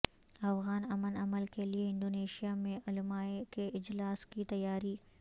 افغان امن عمل کے لیے انڈونیشیا میں علماء کے اجلاس کی تیاری